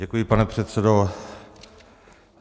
Děkuji, pane předsedo.